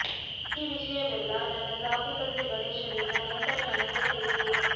ಈ ವಿಷಯವೆಲ್ಲ ನನ್ನ ಸಾಕು ತಂದೆ ಗಣೇಶರಿಂದ ನಂತರ ನನಗೆ ತಿಳಿಯಿತು